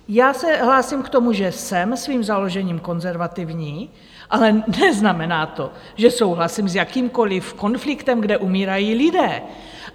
Já se hlásím k tomu, že jsem svým založením konzervativní, ale neznamená to, že souhlasím s jakýmkoliv konfliktem, kde umírají lidé.